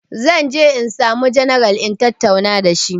Zan je insamu janaral in tatauna dashi